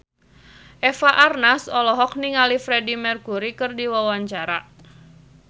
Eva Arnaz olohok ningali Freedie Mercury keur diwawancara